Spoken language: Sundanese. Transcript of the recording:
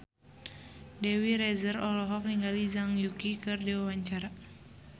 Dewi Rezer olohok ningali Zhang Yuqi keur diwawancara